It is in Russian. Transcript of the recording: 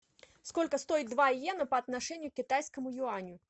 сколько стоит два йена по отношению к китайскому юаню